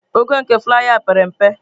Ogo nke flaiya a pere mpe.